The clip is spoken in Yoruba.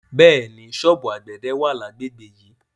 Bẹ́ẹ̀ni, ṣọ́ọ̀bù àgbẹ̀dẹ wà lágbègbè yìí.